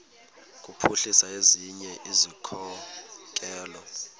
kuphuhlisa ezinye izikhokelo